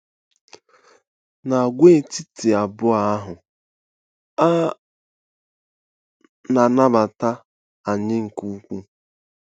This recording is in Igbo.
N'agwaetiti abụọ ahụ, a na-anabata anyị nke ukwuu.